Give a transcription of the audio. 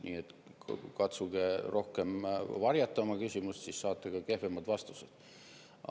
Nii et katsuge rohkem varjata oma küsimust, siis saate ka kehvemad vastused.